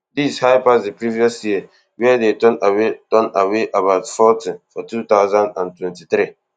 dis high pass di previous year wia dem turn away turn away about forty for two thousand and twenty-three